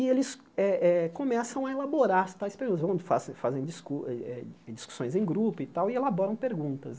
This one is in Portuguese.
E eles eh eh começam a elaborar as tais perguntas, onde fazem dis eh eh discussões em grupo e tal, e elaboram perguntas.